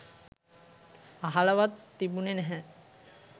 අහලවත් තිබුණේ නැහැ.